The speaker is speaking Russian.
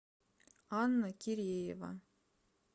анна киреева